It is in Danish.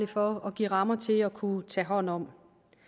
for at give rammer til at kunne tage hånd om